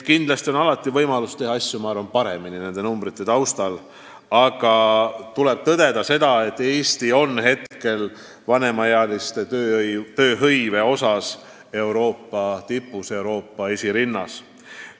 Kindlasti on alati võimalik teha asju paremini – paremini, kui need arvud näitavad –, aga tuleb tõdeda, et Eesti on vanemaealiste tööhõive poolest Euroopas esirinnas.